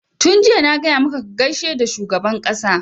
tun jiya na gaya maka ka gaishe da shugaban ƙasa!